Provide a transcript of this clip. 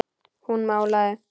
Hún málaði.